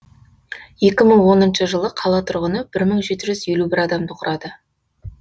екі мың оныншы жылы қала тұрғыны бір мың жеті жүз елу бір адамды құрады